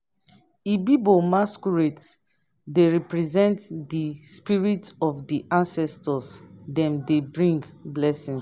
ibibio masquerades dey represent di spirit of di ancestors dem dey bring blessings.